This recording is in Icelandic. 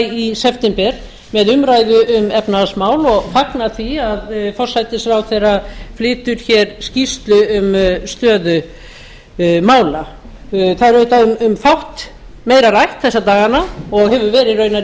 í september með umræðu um efnahagsmál og fagna því að forsætisráðherra flytur hér skýrslu um stöðu mála það er auðvitað um fátt meira rætt þessa dagana og hefur verið raunar í allt